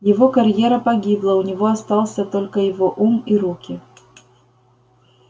его карьера погибла у него остался только его ум и руки